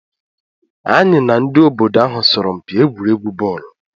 Anyị na ndị obodo ahụ sọrọ mpi egwuregwu bọọlu.